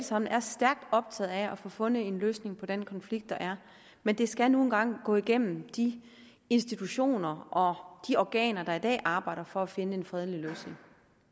sammen er stærkt optaget af at få fundet en løsning på den konflikt der er men det skal nu engang gå igennem de institutioner og de organer der i dag arbejder for at finde en fredelig løsning